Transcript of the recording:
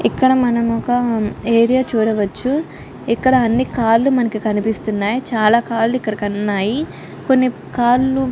ఇక్కడ మనం ఒక ఏరియా చూడవచ్చు. ఇక్కడ అని కార్లు మనకి కనిపిస్తున్నాయి.చాల కార్లు ఇక్కడ ఉన్నాయి. కొని కార్లు --